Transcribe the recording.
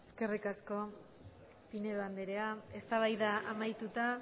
eskerrik asko pinedo andrea eztabaida amaituta